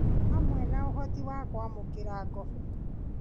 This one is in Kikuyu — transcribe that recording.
Hamwe na ũhoti wa kwamũkĩra ngobo